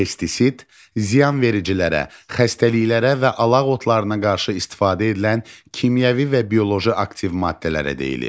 Pestisid: ziyanvericilərə, xəstəliklərə və alaq otlarına qarşı istifadə edilən kimyəvi və bioloji aktiv maddələrə deyilir.